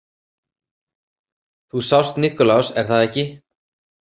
Þú sást Niklas, er það ekki?